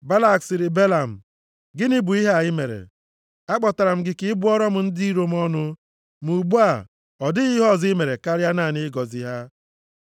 Balak sịrị Belam, “Gịnị bụ ihe a i mere m? Akpọtara m gị ka ị bụọrọ m ndị iro m ọnụ, ma ugbu a, ọ dịghị ihe ọzọ i mere karịa naanị ịgọzi ha!”